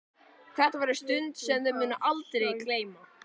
Þetta verður stund sem þau munu aldrei gleyma.